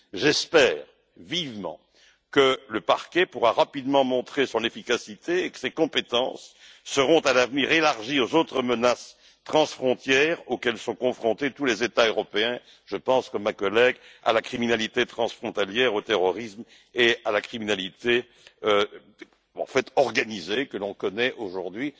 J'espère vivement que le parquet pourra rapidement montrer son efficacité et que ses compétences seront à l'avenir élargies aux autres menaces transfrontières auxquelles sont confrontés tous les États européens, telles que la criminalité transfrontalière, le terrorisme et la criminalité organisée que l'on connaît aujourd'hui.